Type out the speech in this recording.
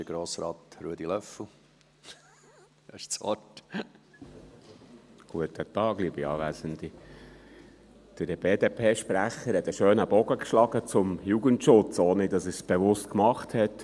Der BDP-Sprecher hat einen schönen Bogen zum Jugendschutz gespannt, ohne dass er es bewusst gemacht hat: